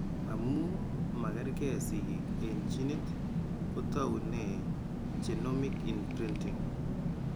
Amu magerge sigik eng' ginit kotoune genomic imprinting.